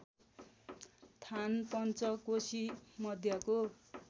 थान पन्चकोशी मध्यको